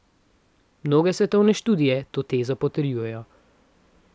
Mnoge svetovne študije to tezo potrjujejo.